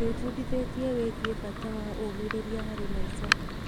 Ndĩbundithĩtie wĩgiĩ bata wa ũmĩrĩria harĩ maica.